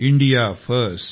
India first